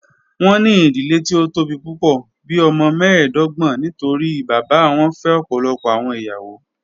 Wọn ni idile ti o tobi pupọ, bii ọmọ mẹẹdọgbọn nitori baba wọn fẹ ọpọlọpọ awọn iyawo.